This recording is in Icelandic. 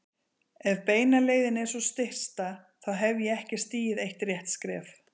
Ef beina leiðin er sú stysta, þá hef ég ekki stigið eitt rétt skref.